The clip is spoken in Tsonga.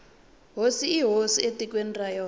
hosi i hosi etikweni ra yona